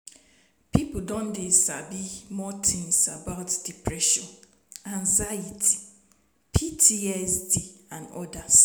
people don dey sabi more things about depression anxiety ptsd and odas